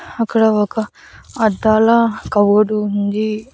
అక్కడ ఒక అద్దాల కవరు ఉంది.